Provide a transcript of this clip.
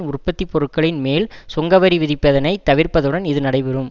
உற்பத்தி பொருட்களின் மேல் சுங்கவரி விதிப்பதனை தவிர்ப்பதுடன் இது நடைபெறும்